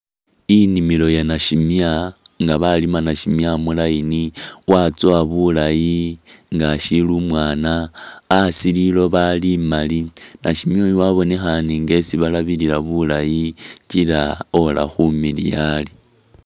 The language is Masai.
Inimilo ya nashimya nga balima nashimya mu line watsowa bulaayi nga ashili umwaana. Asi liloba liloba limali, nashimya uyu wabonekhane nga esi balabilila bulayi kila ola khumiliya ari.